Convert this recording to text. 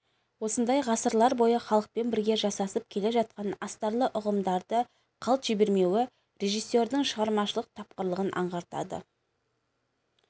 осындай ғасырлар бойы халықпен бірге жасасып келе жатқан астарлы ұғымдарды қалт жібермеуі режиссердің шығармашылық тапқырлығын аңғартады